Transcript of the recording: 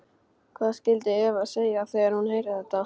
Hvað skyldi Eva segja þegar hún heyrir þetta?